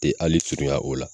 Te ali surunya o la